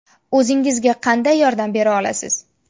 O‘zingizga qanday yordam bera olasiz?